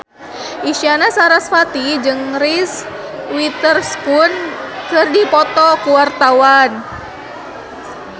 Isyana Sarasvati jeung Reese Witherspoon keur dipoto ku wartawan